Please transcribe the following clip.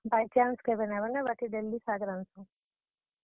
By chance କେଭେ ନେ ବନେ ବାକି daily ଶାଗ ରାନ୍ଧସୁଁ।